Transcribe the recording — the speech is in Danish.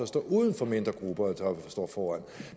stå uden for mindre grupper der går foran